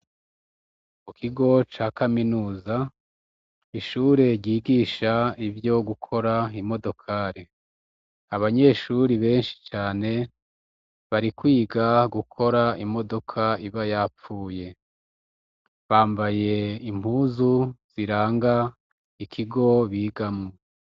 Mu kigo ca kaminuza, ishure ryigisha ivyo gukora imodokari. Abanyeshure benshi cane bari kwiga gukora imodoka iba yapfuye, bamabaye impuzu ziranga ikigo bigamwo.